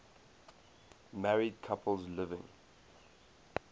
married couples living